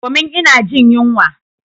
Domin ina jin yunwa.